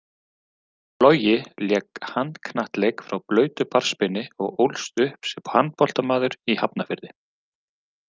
Logi lék handknattleik frá blautu barnsbeini og ólst upp sem handboltamaður í Hafnarfirði.